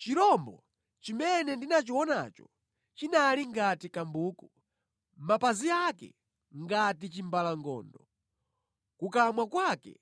Chirombo chimene ndinachionacho chinali ngati kambuku, mapazi ake ngati chimbalangondo, kukamwa kwake